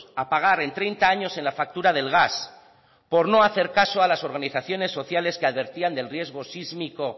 a pagar en treinta años en la factura del gas por no hacer caso a las organizaciones sociales que advertían del riesgo sísmico